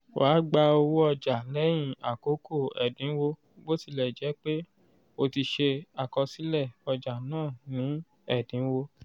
wà gba owó ọjà lẹ́yìn akoko ẹ̀dínwó botilejepe o ti se àkọsílẹ ọjà náa ní ẹ̀dínwó.